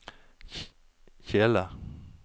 kjele